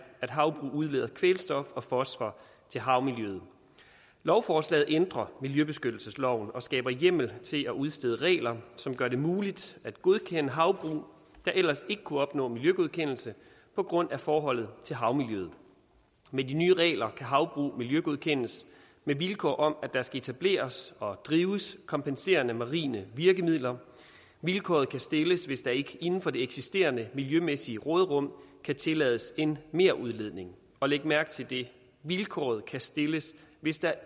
at havbrug udleder kvælstof og fosfor til havmiljøet lovforslaget ændrer miljøbeskyttelsesloven og skaber hjemmel til at udstede regler som gør det muligt at godkende havbrug der ellers ikke ville kunne opnå miljøgodkendelse på grund af forholdet til havmiljøet med de nye regler kan havbrug miljøgodkendes med vilkår om at der skal etableres og drives kompenserende marine virkemidler vilkåret kan stilles hvis der ikke inden for det eksisterende miljømæssige råderum kan tillades en merudledning og læg mærke til det vilkåret kan stilles hvis der